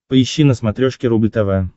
поищи на смотрешке рубль тв